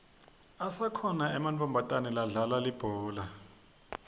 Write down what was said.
asakhona ematfomatana ladlala ibhola